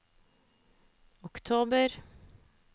oktober